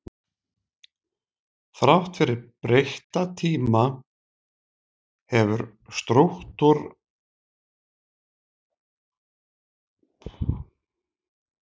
Þrátt fyrir breytta tíma hefur strúktúralisminn haldið velli á sumum sviðum mannfræði.